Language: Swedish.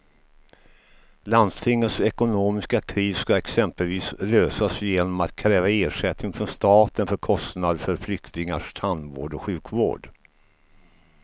Landstingets ekonomiska kris ska exempelvis lösas genom att kräva ersättning från staten för kostnader för flyktingars tandvård och sjukvård.